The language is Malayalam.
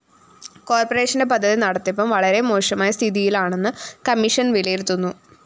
കോര്‍പറേഷന്റെ പദ്ധതി നടത്തിപ്പും വളരെ മോശമായ സ്ഥിതിയിലാണെന്നു കമ്മീഷൻ വിലയിരുത്തുന്നു